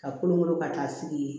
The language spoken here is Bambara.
Ka kolon kolon ka taa sigi yen